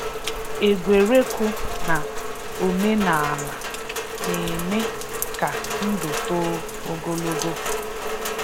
Égwé̀rè́kụ̀ na òmè̀nààlà na-emè kà ndụ̀ toò ogologò.